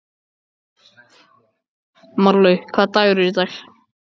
Marlaug, hvaða dagur er í dag?